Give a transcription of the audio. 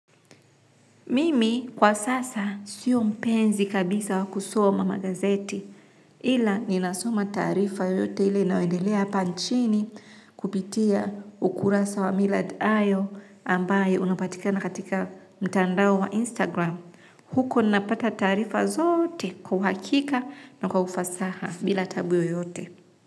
Mimi kwa sasa siyo mpenzi kabisa wa kusoma magazeti ila ninasoma taarifa yoyote ile inayoendelea hapa nchini kupitia ukurasa wa Millard Ayo ambaye unapatika na katika mtandao wa Instagram. Huko ninapata taarifa zote kwa uhakika na kwa ufasaha bila taabu yoyote.